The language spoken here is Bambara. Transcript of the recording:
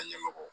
Ka ɲɛmɔgɔ